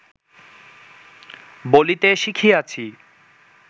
বলিতে শিখিয়াছি